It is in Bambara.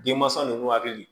Denmansaw hakili